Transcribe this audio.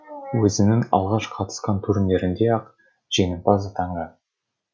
өзінің алғаш қатысқан турнирінде ақ жеңімпаз атанған